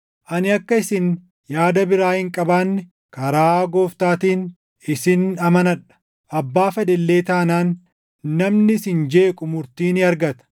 Ani akka isin yaada biraa hin qabaanne karaa Gooftaatiin isin amanadha. Abbaa fedhe illee taanaan namni isin jeequu murtii ni argata.